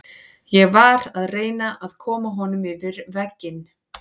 Ég var að reyna að koma honum yfir vegginn.